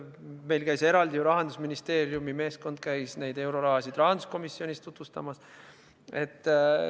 Meil käis Rahandusministeeriumi meeskond rahanduskomisjonis eurorahasid tutvustamas.